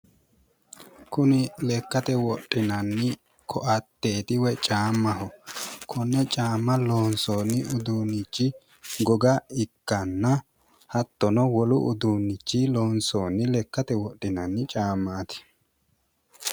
Kuni lekkate wodhinanni koatteeti woy chaammaho, konne chaamma loonsoonni uduunnichi goga ikkanna hattono wolu uduunnichi loonsoonni lekkate wodhinanni chaammaati.